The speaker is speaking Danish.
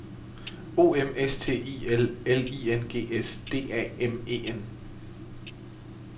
O M S T I L L I N G S D A M E N